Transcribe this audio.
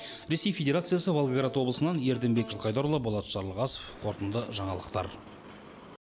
ресей федерациясы волгоград облысынан ерденбек жылқайдарұлы болат жарылғасов қорытынды жаңалықтар